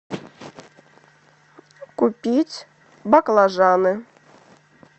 купить баклажаны